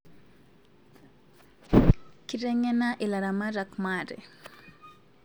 Kitengena ilaramatak maate